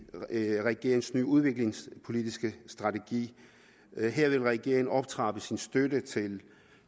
regeringens nye udviklingspolitiske strategi her vil regeringen optrappe sin støtte til